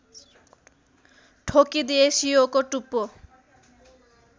ठोकिदिए सियोको टुप्पो